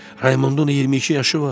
Raymondun 22 yaşı var.